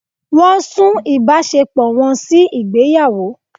Wọ́n sún ìbáṣepọ̀ wọn sí ìgbéyàwó.